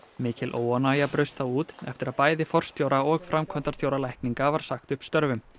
mikil óánægja braust þá út eftir að bæði forstjóra og framkvæmdastjóra lækninga var sagt upp störfum